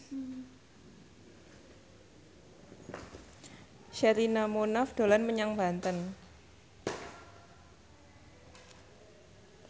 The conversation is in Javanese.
Sherina Munaf dolan menyang Banten